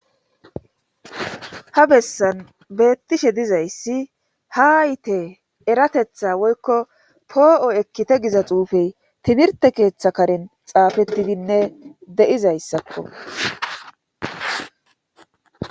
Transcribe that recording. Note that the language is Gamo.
Ha bessan beettishe dizayssi ha ayte eratetha woykko poo7o ekkite giza xuufey timirte keeththa karen xaafettidinne deizayssakko